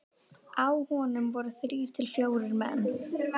Á honum voru þrír til fjórir menn.